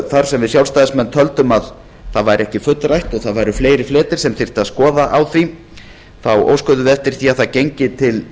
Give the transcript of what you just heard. þar sem við sjálfstæðismenn töldum það ekki fullrætt og það væru fleiri fletir sem þyrfti að skoða á því óskuðum við eftir því að það gengi til